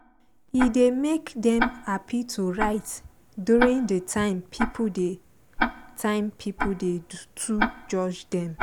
e dey make dem happy to write during de time pipo dey time pipo dey too judge dem